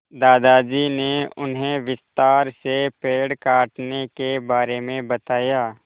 दादाजी ने उन्हें विस्तार से पेड़ काटने के बारे में बताया